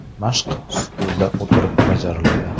Mashq stulda o‘tirib bajariladi.